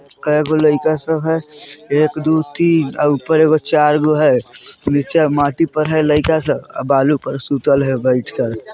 कईगो लड़का सब हेय एक दो तीन और ऊपर एगो चार गो हैं नीचे माटी पर हैं लयका सब और बालू पर सुतल हेय बैठकर--